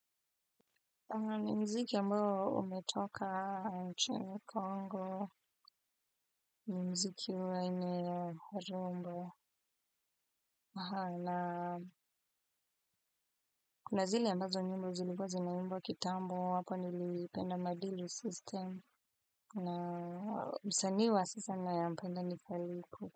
Na mziki ambao umetoka nchini kongo ni mziki wa aina ya, harumba kuna zile ambazo nyimbo zilikua zinaimbwa kitambo, hapo nilipenda madili system na msanii wa sasa naye mpenda nifaliku.